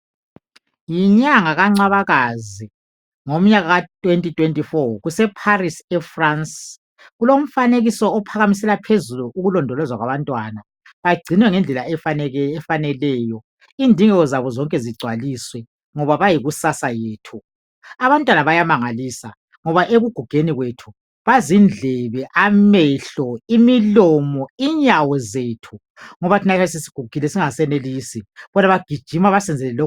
Yinyanga kangcwabakazi ngomnyaka ka2024 kuseParis eFrance, kulomfanekiso ophakamisela phezulu ukulondolozwa kwabantwana, bagcinwa ngendlela efaneleyo. Indingeko zabo zigcwaliswe ngoba bayikusasa yethu. Abantwana bayamangalisa ngoba ekugugeni kwethu bazindlebe, amehlo, imilomo, inyawo zethu ngoba thina siyabe sesigugile singasenelisi bona bagijima basenzele lokhu lalokhuya.